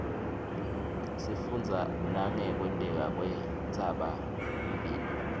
sifundza nangekwenteka kwentsaba mlilo